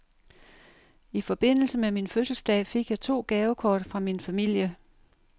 I forbindelse med min fødselsdag fik jeg to gavekort fra min familie.